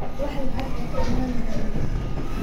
Wax lacag ah kamaanu helin.